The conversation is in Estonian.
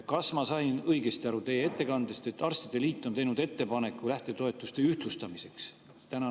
Kas ma sain teie ettekandest õigesti aru, et arstide liit on teinud ettepaneku lähtetoetuste ühtlustamiseks?